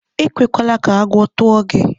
E kwekwara ka agwọ tụọ gị.